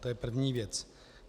To je první věc.